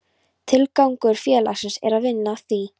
Tilgangur félagsins er að vinna að því: